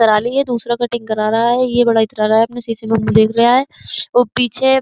करा ली है दूसरा कटिंग करा रहा है। ये बड़ा इतरारा है अपनी शीशे में मुंह देख रहा है और पीछे --